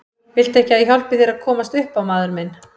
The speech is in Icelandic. Viltu ekki að ég hjálpi þér að komast upp á maður minn.